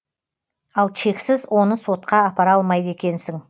ал чексіз оны сотқа апара алмайды екенсің